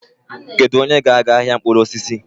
Kedu onye ga-aga ahịa mkpụrụ osisi?